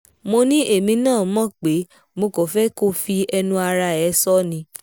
mo ní èmi náà mọ̀ pé mo kàn fẹ́ kó fi ẹnu ara ẹ̀ sọ ọ́ ni